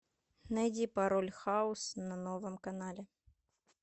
найди пароль хаус на новом канале